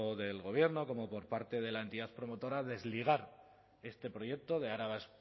del gobierno como por parte de la entidad promotora desligar este proyecto de araba